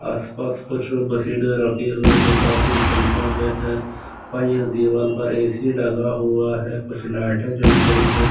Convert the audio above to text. आसपास कुछ बसे जो काफी संख्या में है दीवार पर ए सी लगा हुआ है कुछ लाइटे जल रही है।